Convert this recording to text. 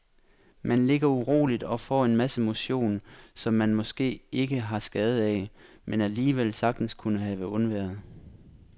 Man ligger uroligt og får en masse motion, som man måske ikke har skade af, men alligevel sagtens kunne have undværet.